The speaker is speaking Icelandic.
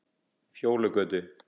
Fjólugötu